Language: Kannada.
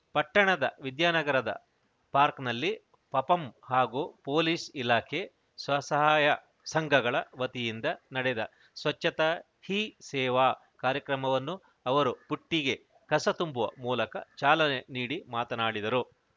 ಪಟ್ಟಣದ ವಿದ್ಯಾನಗರದ ಪಾರ್ಕ್ನಲ್ಲಿ ಪಪಂ ಹಾಗೂ ಪೊಲೀಸ್‌ ಇಲಾಖೆ ಸ್ವಸಹಾಯ ಸಂಘಗಳ ವತಿಯಿಂದ ನಡೆದ ಸ್ವಚ್ಛತಾ ಹಿ ಸೇವಾ ಕಾರ್ಯಕ್ರಮವನ್ನು ಅವರು ಬುಟ್ಟಿಗೆ ಕಸ ತುಂಬುವ ಮೂಲಕ ಚಾಲನೆ ನೀಡಿ ಮಾತನಾಡಿದರು